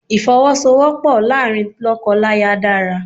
Ìfowọ́sowọ́pọ̀ láàárín lọ́kọláya dára.